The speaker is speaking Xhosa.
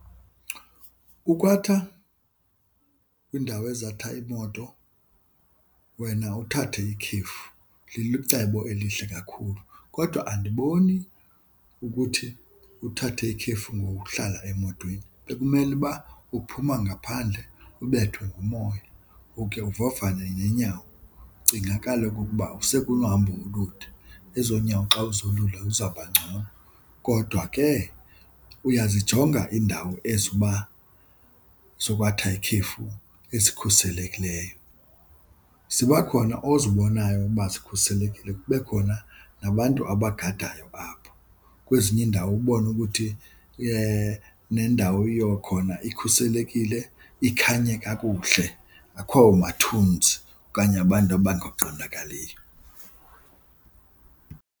Ukwatha kwiindawo ezatha iimoto wena uthathe ikhefu licebo elihle kakhulu. Kodwa andiboni ukuthi uthathe ikhefu ngokuhlala emotweni, bekumele uba uphuma ngaphandle ubethwe ngumoya uke uvavanye neenyawo. Cinga kaloku ukuba usekunohambo olude, ezo nyago xa uzolula uzawuba ngcono. Kodwa ke uyazijonga iindawo ezi uba zokwatha ikhefu ezikhuselekileyo. Ziba khona ozibonayo uba zikhuselekile kube khona nabantu abagadayo apho, kwezinye iindawo ubone ukuthi nendawo yakhona ikhuselekile, ikhanye kakuhle, akho mathunzi okanye abantu abangaqondakaliyo.